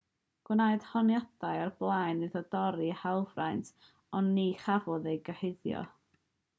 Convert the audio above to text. gwnaed honiadau o'r blaen iddo dorri hawlfraint ond ni chafodd ei gyhuddo